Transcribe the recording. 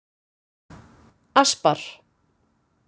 Aspar